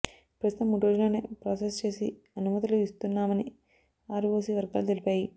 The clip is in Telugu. ప్రస్తుతం మూడు రోజుల్లోనే ప్రాసెస్ చేసి అనుమతులు ఇస్తున్నామని ఆర్ఓసీ వర్గాలు తెలిపాయి